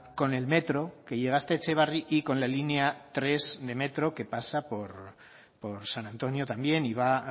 con el metro que llega hasta etxebarri y con la línea tres de metro que pasa por san antonio también y va